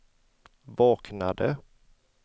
vaknade